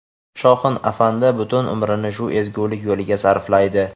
Shoxin afandi butun umrini shu ezgulik yo‘liga sarflaydi.